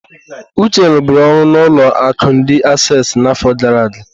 Uche ruburu ọrụ n'ụlọ akụ ndi Assesi n'afọ gara aga.